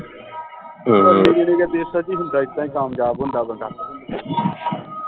ਇੱਦਾ ਹੀ ਕਾਮਯਾਬ ਹੁੰਦਾ ਬੰਦਾ